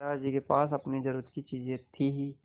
दादाजी के पास अपनी ज़रूरत की चीजें थी हीं